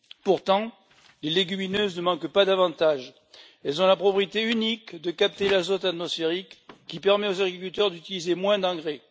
Pourtant, les légumineuses ne manquent pas d'avantages elles ont la propriété unique de capter l'azote atmosphérique qui permet aux agriculteurs d'utiliser moins d'engrais.